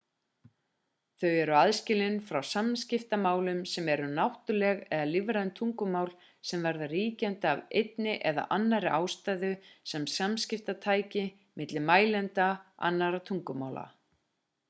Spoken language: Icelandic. þau eru aðskilin frá samskiptamálum sem eru náttúruleg eða lífræn tungumál sem verða ríkjandi af einni eða annarri ástæðu sem samskiptatæki milli mælenda annarra tungumála